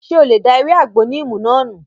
Ṣé o lè da ewé àgbo níìmù náà nù?